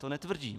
To netvrdím.